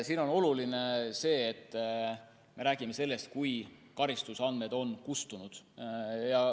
Siin on oluline see, et me räägime sellest, et karistusandmed on kustunud.